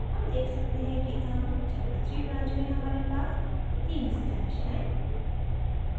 हम देख सकते हैं कि अब chapterthree branch में हमारे पास तीन stashes हैं